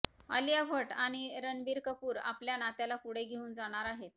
आलिया भट्ट आणि रणबीर कपूर आपल्या नात्याला पुढे घेऊन जाणार आहेत